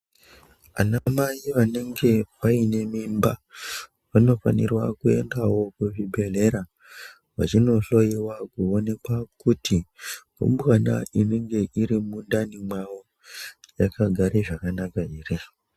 Ana mai vanenge vaine mimba vanofanirwa kuendao kuzvibhedhlera vachinohloyiwa kuonekwa kuti rumbwana inenge irimundani mwavo yakagara zvakanaka ere .